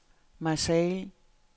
Marseilles